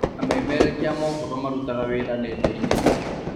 Amemerekia a mohoro marutaga wĩra nenda-inĩ